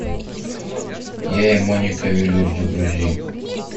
я и моника велюр загрузи